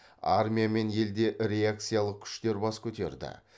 армия мен елде реакциялық күштер бас көтерді